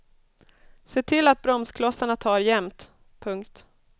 Se till att bromsklossarna tar jämnt. punkt